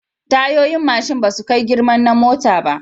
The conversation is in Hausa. Tayoyin mashin basu kai girman na mota ba